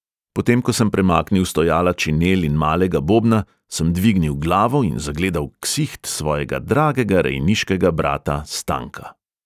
Potem ko sem premaknil stojala činel in malega bobna, sem dvignil glavo in zagledal ksiht svojega dragega rejniškega brata stanka.